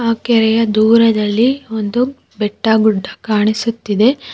ಕೆರೆಯ ದೂರದಲ್ಲಿ ಒಂದು ಬೆಟ್ಟ ಗುಡ್ಡ ಕಾಣಿಸುತ್ತಿದೆ.